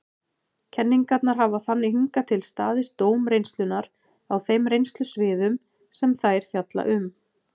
Kenningarnar hafa þannig hingað til staðist dóm reynslunnar á þeim reynslusviðum sem þær fjalla um.